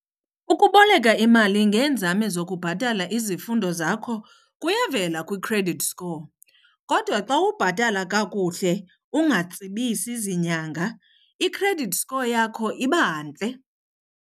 Ukuboleka imali ngeenzame zokubhatala izifundo zakho kuyavela kwi-credit score. Kodwa xa ubhatala kakuhle ungatsibisi zinyanga i-credit score yakho iba ntle.